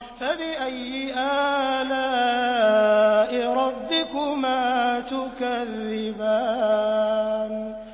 فَبِأَيِّ آلَاءِ رَبِّكُمَا تُكَذِّبَانِ